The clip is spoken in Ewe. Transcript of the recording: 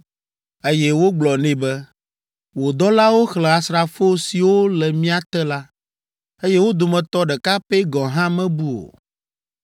eye wogblɔ nɛ be, “Wò dɔlawo xlẽ asrafo siwo le mía te la, eye wo dometɔ ɖeka pɛ gɔ̃ hã mebu o.